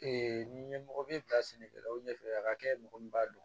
n'i ye mɔgɔ min bila sɛnɛkɛlaw ɲɛfɛ a ka kɛ mɔgɔ min b'a dɔn